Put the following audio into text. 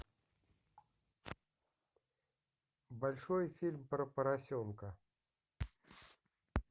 большой фильм про поросенка